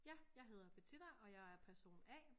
Ja jeg hedder Bettina og jeg er person A